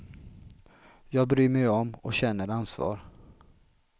Jag bryr mig om och känner ansvar.